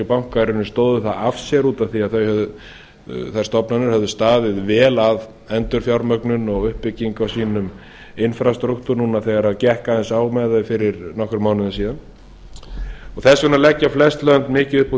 og bankar stóðu það af sér vegna þess að þær stofnanir höfðu staðið vel að endurfjármögnun og uppbyggingu á sínum instruktur núna þegar gekk aðeins á með þau fyrir nokkrum mánuðum síðan þess vegna leggja flest lönd mikið upp úr því